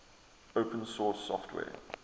open source software